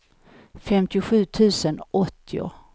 femtiosju tusen åttio